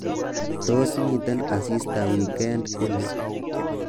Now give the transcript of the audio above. Tos, miten asista wikend ni